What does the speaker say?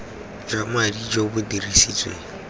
jwa madi jo bo dirisitsweng